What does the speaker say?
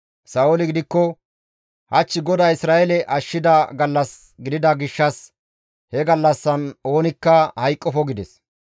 Sa7ooli gidikko, «Hach GODAY Isra7eele ashshida gallas gidida gishshas hachcha gallassan oonikka hayqqofo» gides.